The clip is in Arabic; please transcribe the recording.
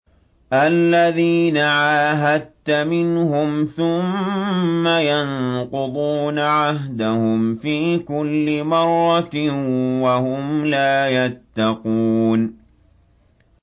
الَّذِينَ عَاهَدتَّ مِنْهُمْ ثُمَّ يَنقُضُونَ عَهْدَهُمْ فِي كُلِّ مَرَّةٍ وَهُمْ لَا يَتَّقُونَ